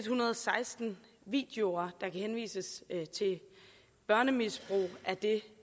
hundrede og seksten videoer der kan henvises til børnemisbrug